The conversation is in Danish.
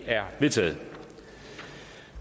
er vedtaget